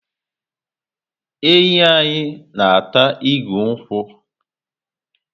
Ewu a anyị na ata igu nkwu